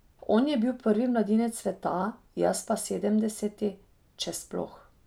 On je bil prvi mladinec sveta, jaz pa sedemdeseti, če sploh.